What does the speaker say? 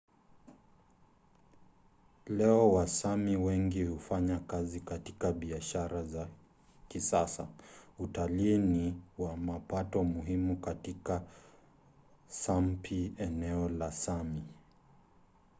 leo wasámi wengi hufanya kazi katika biashara za kisasa. utalii ni wa mapato muhimu katika sápmi eneo la sámi